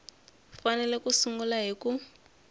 fanele ku sungula hi ku